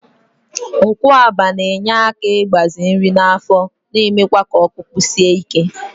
Nkwuaba na-enye aka ịgbaze nri n'afọ, na-emekwa k'ọkpụkpụ sie ike.